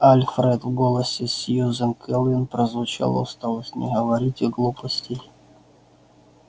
альфред в голосе сьюзен кэлвин прозвучала усталость не говорите глупостей